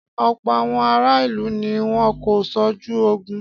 Ọ̀pọ̀ àwọn ará ìlú ni wọ́n kú sójú ogun.